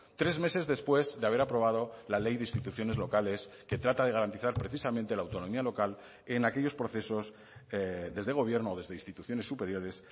tres meses después de haber aprobado la ley de instituciones locales que trata de garantizar precisamente la autonomía local en aquellos procesos desde gobierno o desde instituciones superiores